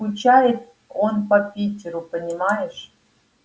скучает он по питеру понимаешь